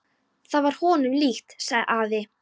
Það var honum líkt, sagði afi.